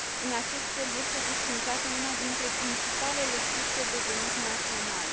În acest fel, este desființată una dintre principalele surse de venit naționale.